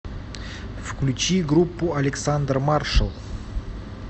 включи группу александр маршал